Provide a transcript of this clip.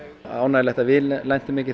ánægjulegt að við lentum ekki